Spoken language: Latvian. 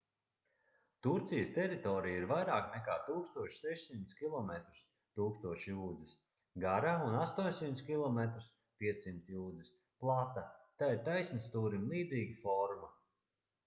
turcijas teritorija ir vairāk nekā 1600 kilometrus 1000 jūdzes gara un 800 km 500 jūdzes plata tai ir taisnstūrim līdzīga forma